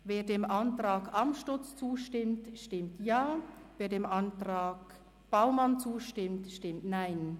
Wer dem Antrag Amstutz zustimmt, stimmt Ja, wer dem Antrag Baumann zustimmt, stimmt Nein.